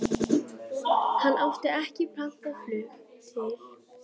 Hann átti ekki pantað flug til